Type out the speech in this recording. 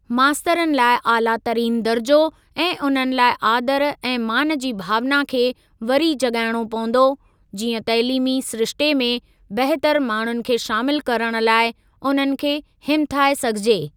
मास्तरनि लाइ आलातरीनु दर्जो ऐं उन्हनि लाइ आदर ऐं मान जी भावना खे वरी जाॻाइणो पवंदो, जीअं तइलीमी सिरिश्ते में बहितर माण्हुनि खे शामिल करण लाइ उन्हनि खे हिमथाए सघिजे।